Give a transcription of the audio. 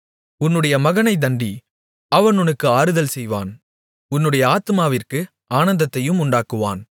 உன்னுடைய மகனை தண்டி அவன் உனக்கு ஆறுதல் செய்வான் உன்னுடைய ஆத்துமாவிற்கு ஆனந்தத்தையும் உண்டாக்குவான்